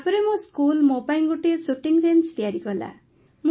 ତାପରେ ମୋ ସ୍କୁଲ୍ ମୋ ପାଇଁ ଗୋଟିଏ ଶୁଟିଂ ରେଞ୍ଜ୍ ତିଆରି କଲା